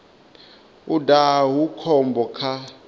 u daha hu khombo kha